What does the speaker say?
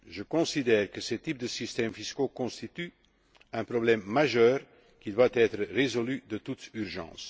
Je considère que ces types de systèmes fiscaux constituent un problème majeur qui doit être résolu de toute urgence.